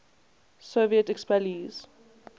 soviet expellees